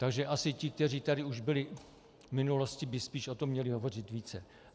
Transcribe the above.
Takže asi ti, kteří tady už byli v minulosti, by spíš o tom měli hovořit více.